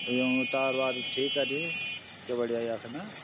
यूँकि तार बाड़ ठीक करीं क्या बढ़िया यख न।